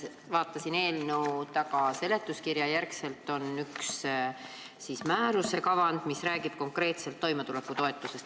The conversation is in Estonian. Vaatasin, et eelnõu seletuskirja järel on üks määruse kavand, mis räägib konkreetselt toimetulekutoetusest.